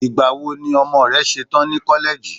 igbawo ni ọmọ rẹ ṣetan ni koleji